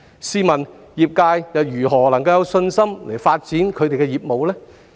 試問業界如何能有信心發展業務？